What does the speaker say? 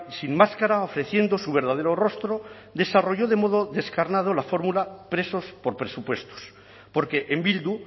sin máscara ofreciendo su verdadero rostro desarrolló de un modo descarnado la fórmula presos por presupuestos porque en bildu